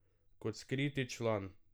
Kot skriti član.